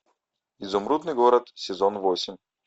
изумрудный город сезон восемь